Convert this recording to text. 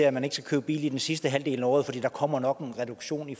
at man ikke skal købe bil i den sidste halvdel af året fordi der nok kommer en reduktion i